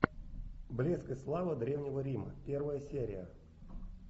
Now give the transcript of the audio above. блеск и слава древнего рима первая серия